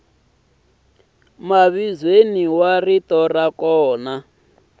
mavizweni wa rito ra kona